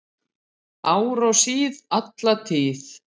Ár og síð og alla tíð